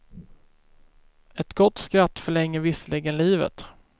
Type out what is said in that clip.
Ett gott skratt förlänger visserligen livet.